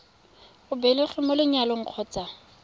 o belegweng mo lenyalong kgotsa